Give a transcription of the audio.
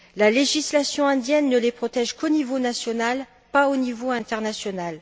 La législation indienne ne les protège qu'au niveau national, pas au niveau international.